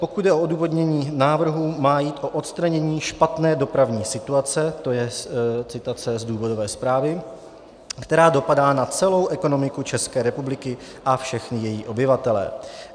Pokud jde o odůvodnění návrhu, má jít o odstranění špatné dopravní situace - to je citace z důvodové zprávy -, která dopadá na celou ekonomiku České republiky a všechny její obyvatele.